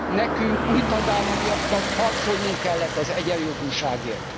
Nekünk, új tagállamiaknak harcolnunk kellett az egyenjogúságért.